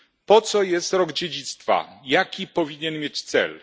Po co jest rok dziedzictwa, jaki powinien mieć cel?